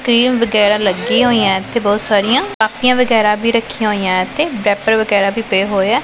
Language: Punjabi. ਕ੍ਰੀਮ ਵਗੈਰਾ ਲੱਗੀਆਂ ਹੋਈਆਂ ਇੱਥੇ ਬਹੁਤ ਸਾਰੀਆਂ ਕਾਪੀਆਂ ਵਗੈਰਾ ਵੀ ਰੱਖੀਆਂ ਹੋਈਆਂ ਤੇ ਰੈਪਰ ਵਗੈਰਾ ਵੀ ਪਏ ਹੋਏਆਂ।